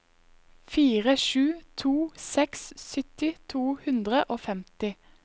fire sju to seks sytti to hundre og femti